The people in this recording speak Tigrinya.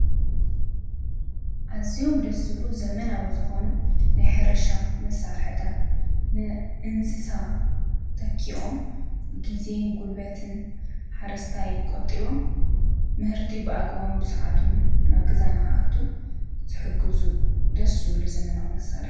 ኣዝዮም ደስ ዝብሉ ዘመናዊ ዝኮኑ ናይ ሕርሻ መሳርሕታት ንእንስሳ ተኪኦም ግዜን ጉልበት ሓረስታይ ቆጢቦም ምህርቲ ብኣግባቡ ብሰዓቱን ናብ ገዛ ንክኣቱ ዝሕግዙ ደስ ዝብሉ ዘመናዊ መሳርሒ እዮም።